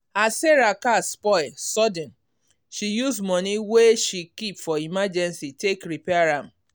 as sarah car spoil sudden she use money wey she keep for emergency take repair am.